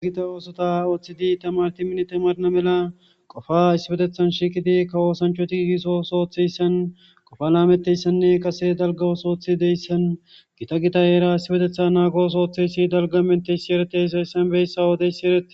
gita oosota ooththidi tamarti minite marna mela qofa isibetethan shiiqidi ka woosanchoti disos ooththeyssan qofa laameteyssanne kase dalgawos ooththi deyssan gita gita eera isibetetha naagoos ooththeysi dalgamenteyssi eretesayssan beyssa wodeyssi ereee